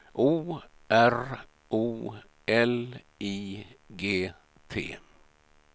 O R O L I G T